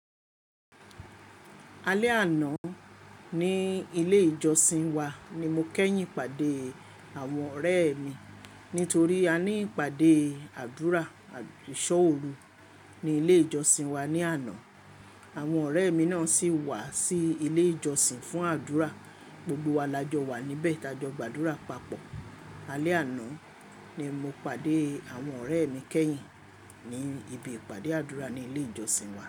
Alẹ́ àná ní ilé ìjọsìn wa ni mo kẹ́yìn pàdé àwọn ọ̀rẹ́ mi. Nítorí a ní ìpàdé àdúrà ìṣọ́ òru ní ilé ìjọsìn wa ní àná. Àwọn ọ̀rẹ́ mi náà sì wá sí ilé ìjọsìn fún àdúrà. Gbogbo wa la jọ wà níbẹ̀ tajọ gbàdúrà papọ̀. Alẹ́ àná ni mo pàdé àwọn ọ̀rẹ́ mi kẹ́yìn ní ibi ìpàdé àdúrà ní ilé ìjọsìn wa.